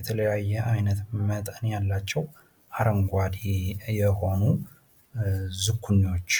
የተለያየ አይነት መጠን ያላቸው አረንጓዴ የሆኑ ዝኩኒዎች።